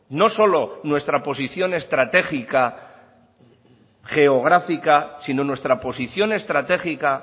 no solo nuestra posición estratégica geográfica sino nuestra posición estratégica